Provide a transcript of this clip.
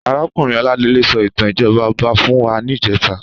Àrákúnrín Oladele sò itàn ijòbá òbá fún wá nijètá